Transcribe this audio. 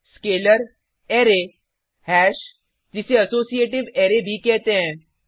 scalar array hash जिसे associative array भी कहते हैं